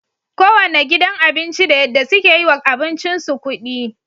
kowanne gidan abinci da yadda suke yiwa abincin su kudi